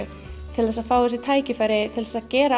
til þess að fá þessi tækifæri til að gera